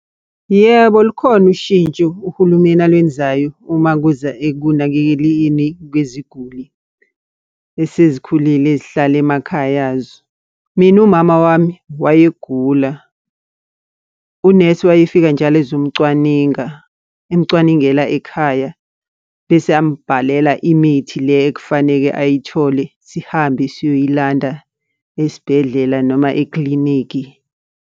Yebo, lukhona ushintsho uhulumeni alwenzayo uma kuza ekunakekeleni kweziguli esezikhulile ezihlala emakhaya azo. Mina umama wami wayegula, unesi wayefika njalo ezomcwaninga, emcwaningela ekhaya. Bese eyambhalela imithi le ekufaneke ayithole, sihambe siyoyilanda esibhedlela noma ekilinikhi.